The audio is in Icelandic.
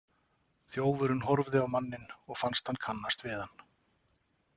Þjófurinn horfði á manninn og fannst hann kannast við hann.